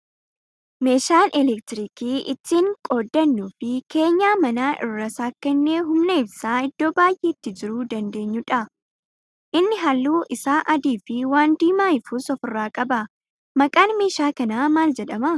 Meeshaan elektiriikii ittiin qooddanuu fi keenyaa manaa irratti sakkaanee humna ibsaa iddoo baay'eetti jiruu dandeenyudha. Inni halluun isaa adii fi waan diimaa ifus ofirraa qaba. Maqaan meeshaa kanaa maal jedhama?